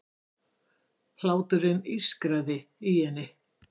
Hláturinn ískraði í henni.